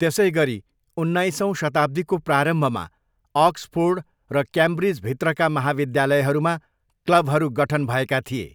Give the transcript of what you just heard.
त्यसैगरी, उन्नाइसौँ शताब्दीको प्रारम्भमा अक्सफोर्ड र क्याम्ब्रिज भित्रका महाविद्यालयहरूमा क्लबहरू गठन भएका थिए।